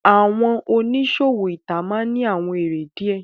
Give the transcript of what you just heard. Awọn oniṣowo ita maa n ni awọn ere diẹ